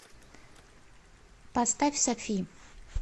поставь софи